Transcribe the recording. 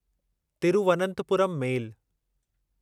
Thiruvananthapuram मेल